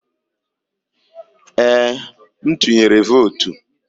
Ee, m tuyere votu.